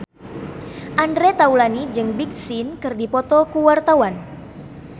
Andre Taulany jeung Big Sean keur dipoto ku wartawan